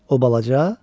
O balaca?